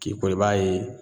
K'i ko o la i b'a ye